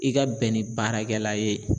I ka bɛn ni baarakɛla ye